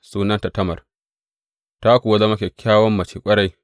Sunanta Tamar, ta kuwa zama kyakkyawan mace ƙwarai.